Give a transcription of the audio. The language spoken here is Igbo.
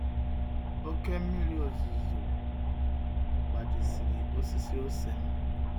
Oké mmírí ozuzo gbajisiri osisi ose m.